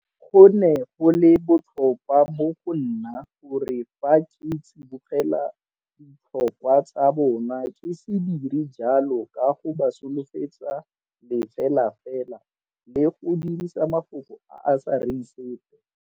Go ne go le botlhokwa mo go nna gore fa ke tsibogela ditlhokwa tsa bona ke se dire jalo ka go ba solofetsa lefelafela le go dirisa mafoko a a sa reng sepe.